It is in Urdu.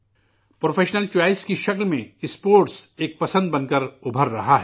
پیشہ ورانہ انتخاب کی شکل میں اسپورٹس ایک پسند بن کر ابھر رہا ہے